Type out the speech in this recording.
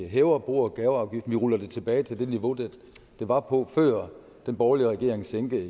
hæver bo og gaveafgiften vi ruller den tilbage til det niveau den var på før den borgerlige regering sænkede